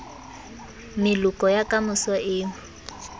meloko ya ka moso e